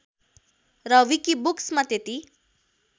र विकिबुक्समा त्यति